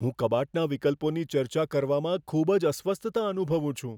હું કબાટના વિકલ્પોની ચર્ચા કરવામાં ખૂબ જ અસ્વસ્થતા અનુભવું છું.